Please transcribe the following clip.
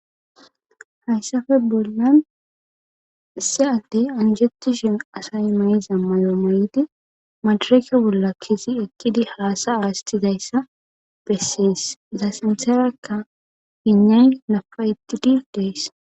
hayssafe bbollan issiadde anjetu shen asay mayiza mayo may7idi madareke bolla kisi ekkidi halasa aastizayssa bessies za sintherakka hinay napa etti dil dees